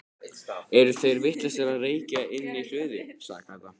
Eru þeir vitlausir að reykja inni í hlöðu? sagði Kata.